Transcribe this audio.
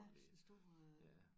Ja sådan stor øh